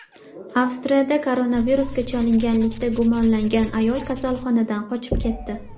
Avstriyada koronavirusga chalinganlikda gumonlangan ayol kasalxonadan qochib ketdi.